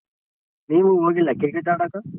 ನೀವ್ ಹೋಗಿಲ್ಲ cricket ಆಡೋಕೆ.